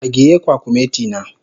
Agiye kwakumeti na.